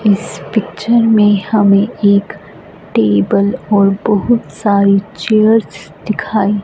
इस पिक्चर मे हमे एक टेबल और बहुत सारी चेयर्स दिखाई--